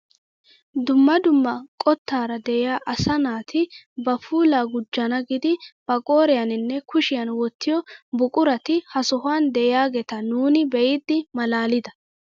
Dumma dumma qottaara de'iyaa asa naati ba puulaa gujjana giidi ba qooriyaaninne kushshiyaan wottiyoo buqurati ha sohuwaan de'iyaageta nuuni be'idi malaalida.